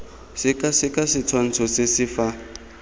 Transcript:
sekaseka setshwantsho se se fa